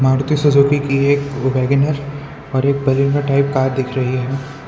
Maruti Suzuki की एक WagonR और एक टाइप कार दिख रही है।